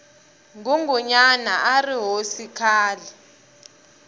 ngungunyana arihhosi khale